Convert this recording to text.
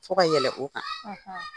Fo ka yɛlɛ o kan.